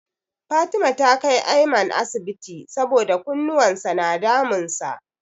Fatima ta kai Aiman asibiti saboda kunnuwan sa na damun sa.